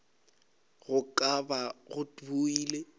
go ka ba go bile